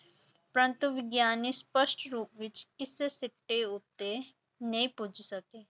ਪ੍ਰੰਤੁ ਵਿਗਿਆਨੀ ਸਪਸ਼ਟ ਰੂਪ ਵਿੱਚ ਕਿਸੇ ਸਿੱਟੇ ਉੱਤੇ ਨਹੀਂ ਪੁੱਜ ਸਕੇ।